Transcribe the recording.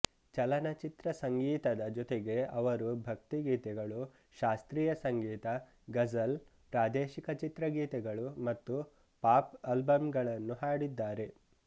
ಚಲನಚಿತ್ರ ಸಂಗೀತದ ಜೊತೆಗೆ ಅವರು ಭಕ್ತಿಗೀತೆಗಳು ಶಾಸ್ತ್ರೀಯ ಸಂಗೀತ ಗಝಲ್ ಪ್ರಾದೇಶಿಕ ಚಿತ್ರಗೀತೆಗಳು ಮತ್ತು ಪಾಪ್ ಆಲ್ಬಮ್ಗಳನ್ನು ಹಾಡಿದ್ದಾರೆ